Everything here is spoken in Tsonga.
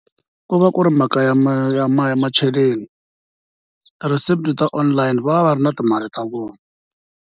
Ku va ku ri mhaka ya ya macheleni ti-recipe ta online va va va ri na timali ta vona.